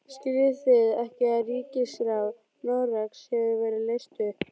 Skiljið þið ekki að ríkisráð Noregs hefur verið leyst upp!